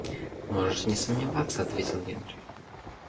можешь не сомневаться ответил генри